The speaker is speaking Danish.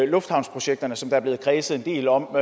lufthavnsprojekterne som der er blevet kredset en del om